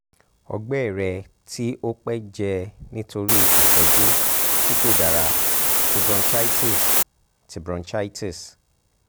ọgbẹ rẹ ti o pẹ jẹ nitori itọju ti ko dara ti bronchitis ti bronchitis